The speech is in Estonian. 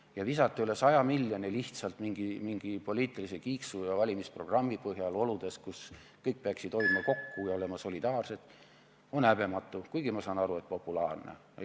Ja visata üle 100 miljoni minema lihtsalt mingi poliitilise kiiksu ja valimisprogrammi põhjal oludes, kus kõik peaksid kokku hoidma ja solidaarsed olema, on häbematu, kuigi ma saan aru, et populaarne otsus.